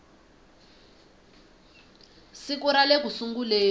siku ra le ku sunguleni